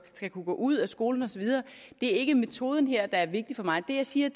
skal kunne gå ud af skolen og så videre det er ikke metoden her der er vigtig for mig det jeg siger